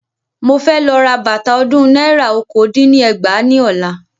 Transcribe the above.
Mo fẹ́ lọ ra bàtà ọdún náírà okòó dín ní ẹgbàá ní ọ̀la.